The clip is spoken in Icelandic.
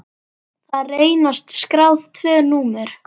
Þar reynast skráð tvö númer.